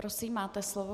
Prosím, máte slovo.